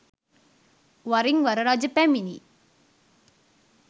වරින් වර රජ පැමිණි